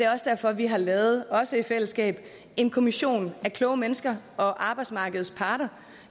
også derfor vi har lavet også i fællesskab en kommission af kloge mennesker og arbejdsmarkedets parter